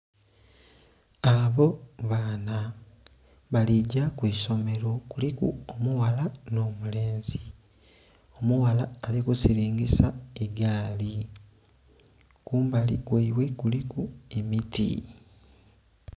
Abo baana baligya kwiisomero kuliku omughala n'omulenzi. Omughala ali kusingisa egaali kumbali kwaibwe kuliku emiti.